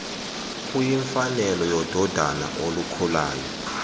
kuyimfanelo yododana olukhulayo